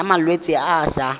ya malwetse a a sa